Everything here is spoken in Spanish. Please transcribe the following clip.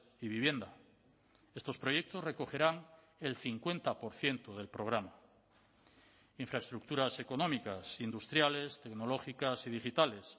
y vivienda estos proyectos recogerán el cincuenta por ciento del programa infraestructuras económicas industriales tecnológicas y digitales